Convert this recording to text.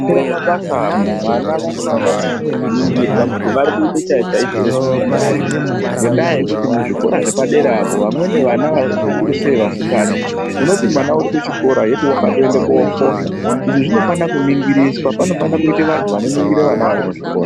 Munyari mumabasa vana vanofanira kuringirwa kuti vari kuite chaizvo-chaizvo here zvinofanire kuitwa , ngendaa yekuti muzvikora zvepadera apo vamweni vana zvikuru sei vasikana unoti mwana uri kuchikora yeti wakatoende koofohla, izvi zvinofanire kuningiriswa. Panofanire kuite vantu vanoningire vana varimuzvikora.